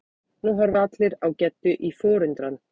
Nú horfa allir á Geddu í forundran.